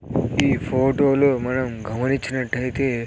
ఈ ఫోటోలో మనం గమనిచ్చినట్టైతే--